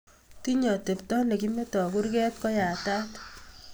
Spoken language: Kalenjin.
Tinyei atepto ne kimetoi kurket ko yatat